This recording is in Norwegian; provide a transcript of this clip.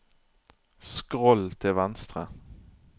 skroll til venstre